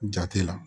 Jate la